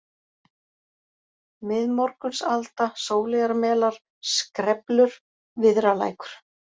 Miðmorgunsalda, Sóleyjarmelar, Skreflur, Viðralækur